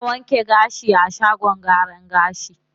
Ana wanke gashi a shagon gyaran gashi.